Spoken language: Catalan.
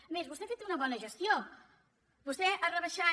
a més vostè ha fet una bona gestió vostè ha rebaixat